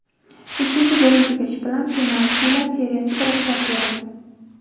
Ikkinchi bo‘lim tugashi bilan penaltilar seriyasiga ruxsat berildi.